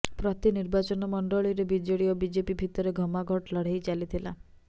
ପ୍ରତି ନିର୍ବାଚନମଣ୍ଡଳୀରେ ବିଜେଡି ଓ ବିଜେପି ଭିତରେ ଘମାଘୋଟ ଲଢ଼େଇ ଚାଲିଥିଲା